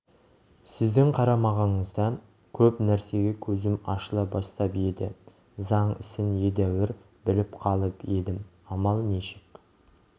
сіздің қарамағыңызда көп нәрсеге көзім ашыла бастап еді заң ісін едәуір біліп қалып едім амал нешік